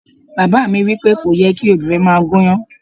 Bàbá mi wí pé, "kò yẹ kí obìnrin máa gúnyán."